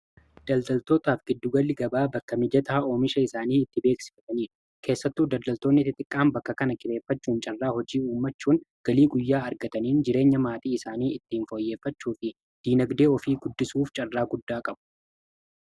Daldaltootaaf giddugalli gabaa bakka mijataa oomisha isaanii itti beeksifataniidha. Keessattuu daldaltoonni xixiqqaan bakka kana carraa hojii uummachuun galii guyyaa argataniin jireenya maatii isaanii ittiin fooyyeeffachuu fi diinagdee ofii guddisuuf carraa guddaa qabu.